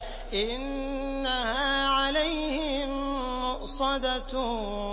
إِنَّهَا عَلَيْهِم مُّؤْصَدَةٌ